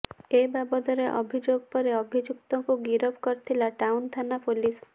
ଏ ବାବଦରେ ଅଭିଯୋଗ ପରେ ଅଭିଯୁକ୍ତକୁ ଗିରଫ କରିଥିଲା ଟାଉନଥାନା ପୋଲିସ